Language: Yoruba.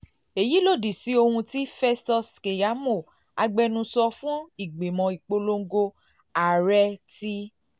èyí lòdì sí ohun um tí festus keyamo agbẹnusọ fún ìgbìmọ̀ ìpolongo um ààrẹ ti um